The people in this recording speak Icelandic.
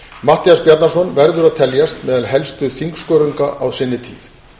matthías bjarnason verður að teljast meðal helstu þingskörunga á sinni tíð